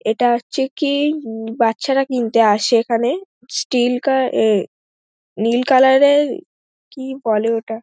ইটা হচ্ছে কি বাচ্চারা কিনতে আসে এখানে স্টিল কালার এ নীল কালার এর কি বলে ওটা--